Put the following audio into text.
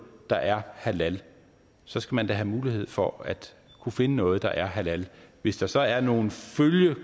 der er halal så skal man da have mulighed for at finde noget der er halal hvis der så er nogle